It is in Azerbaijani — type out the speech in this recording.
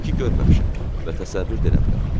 Dedi ki, görməmişəm və təsəvvür də eləmirəm.